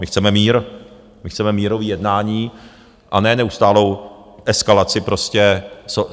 My chceme mír, my chceme mírový jednání a ne neustálou eskalaci prostě.